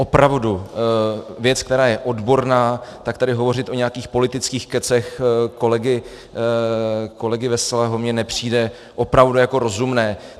Opravdu věc, která je odborná, tak tady hovořit o nějakých politických kecech kolegy Veselého mně nepřijde opravdu jako rozumné.